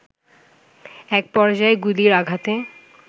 এক পর্যায়ে গুলির আঘাতে